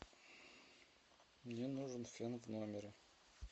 мне нужен фен в номере